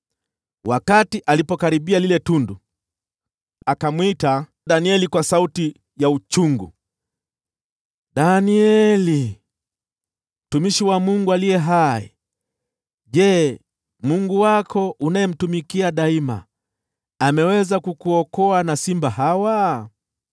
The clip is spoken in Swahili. Wakati alipokaribia lile tundu, akamwita Danieli kwa sauti ya uchungu, “Danieli, mtumishi wa Mungu aliye hai! Je, Mungu wako unayemtumikia daima, ameweza kukuokoa kwa simba?”